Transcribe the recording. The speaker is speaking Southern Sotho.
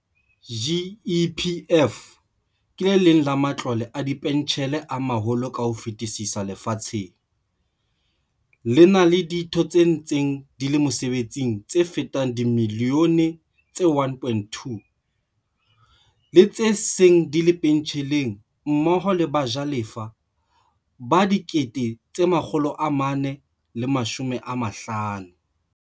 GEPF ke le leng la ma tlole a dipentjhele a maholo ka ho fetisisa lefatsheng, le na le ditho tse ntseng di le mosebetsing tse fetang dimi lione tse 1.2, le tse seng di le pentjheleng mmoho le bajalefa ba 450 000.